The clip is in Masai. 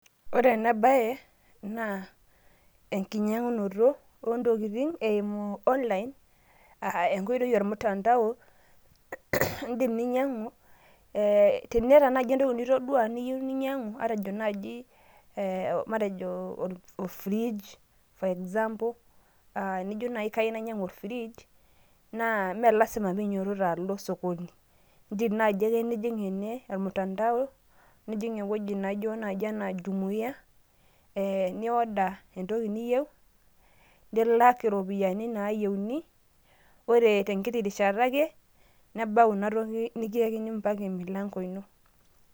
Ore ena bae, naa enkinyang'unoto ontokiting' eimu online ,enkoitoi omtandao. Idim ninyang'u, eh tiniata nai entoki nitodua niyieu ninyang'u, matejo naaji, matejo ofrij, for example ,nijo nai kai nainyang'u ofrij, naa me lasima pinyototo alo osokoni. Idim naji ake nijing' ene, omtandao, nijing' ewueji naijo naji Jumia, nioda entoki niyieu, nilak iropiyiani nayieuni. Ore tenkiti rishata ake, nebau inatoki nikiyakini mpaka emilanko ino.